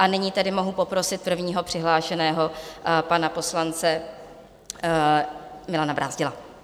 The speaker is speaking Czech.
A nyní tedy mohu poprosit prvního přihlášeného, pana poslance Milana Brázdila.